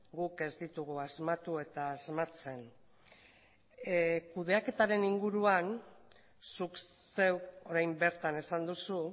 guk ez ditugu asmatu eta asmatzen kudeaketaren inguruan zuk zeuk orain bertan esan duzu